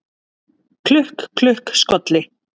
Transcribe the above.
Klukk, klukk, skolli